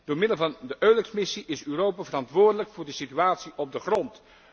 Door middel van de EULEX missie is Europa verantwoordelijk voor de situatie op de grond.